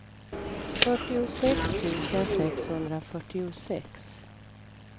fyrtiosex tusen sexhundrafyrtiosex